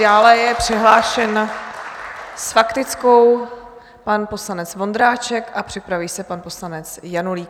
Dále je přihlášen s faktickou pan poslanec Vondráček a připraví se pan poslanec Janulík.